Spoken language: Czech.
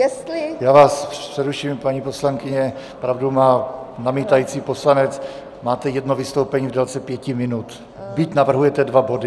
Já vás přeruším, paní poslankyně, pravdu má namítající poslanec, máte jedno vystoupení v délce pěti minut, byť navrhujete dva body.